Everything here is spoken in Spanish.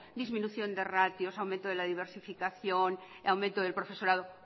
disminución de ratios aumento de la diversificación aumento del profesorado